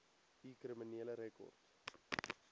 u kriminele rekord